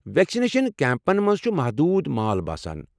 Vaccination کیمپن منٛز چھ محدوٗد مال باسان۔